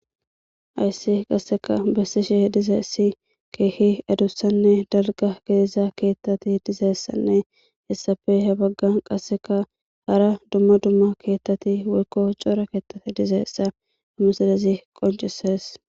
Hayssi qasseka besishe dizaysi keehi adussanne dalga gidiza keethati dizaysanne hessafe he baggan qasseka hara dumma dumma keethati woykko cora keethati dizaysa misilezi qoncisees.